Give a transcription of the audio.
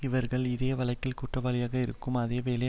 இவர்கள் இதே வழக்கில் குற்றவாளிகளாக இருக்கும் அதே வேளை